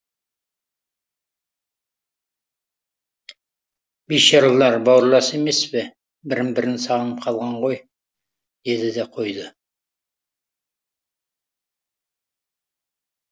бейшаралар бауырлас емес пе бірін бірі сағынып қалған ғой деді де қойды